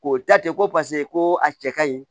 K'o ta ten ko paseke ko a cɛ ka ɲi